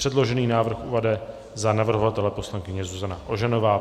Předložený návrh uvede za navrhovatele poslankyně Zuzana Ožanová.